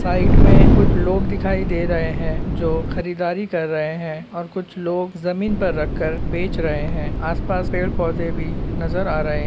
side में कुछ लोग दिखाई दे रहे है जो खरीदारी कर रहे है और कुछ लोग जमीन पर रखकर बेच रहे है आस पास पेड़ पौधे भी नजर आ रहे --